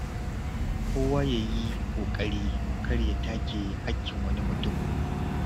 Kowa ya yi ƙoƙari kar ya take haƙƙin wani mutum.